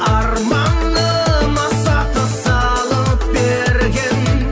арманым аса тыс салып берген